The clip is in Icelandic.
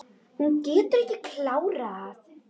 Hún getur ekki klárað.